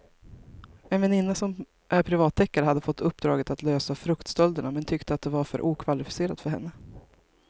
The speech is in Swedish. En väninna som är privatdeckare hade fått uppdraget att lösa fruktstölderna men tyckte att det var för okvalificerat för henne.